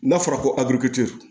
N'a fɔra ko avc